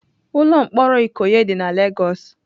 Ụlọ mkpọrọ Ikoyi dị na Lagos.